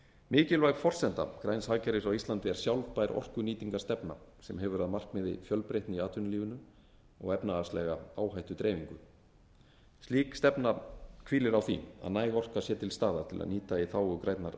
mikilvæg forsenda græns hagkerfis á íslandi er sjálfbær orkunýtingarstefna sem hefur að markmiði fjölbreytni í atvinnulífinu og efnahagslega áhættudreifingu slík stefna hvílir á því að næg orka sé til staðar til að nýta í þágu grænnar